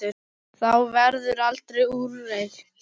Það verður aldrei úrelt.